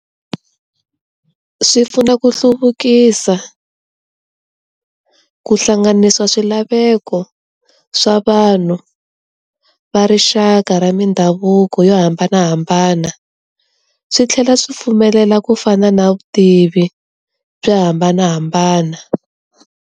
Swi pfuna ku hluvukisa, ku hlanganisa swilaveko swa vanhu va rixaka ra mindhavuko yo hambanahambana, swi tlhela swi pfumelela ku fana na vutivi byo hambanahambana.